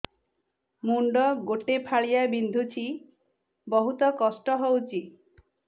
ମୁଣ୍ଡ ଗୋଟେ ଫାଳିଆ ବିନ୍ଧୁଚି ବହୁତ କଷ୍ଟ ହଉଚି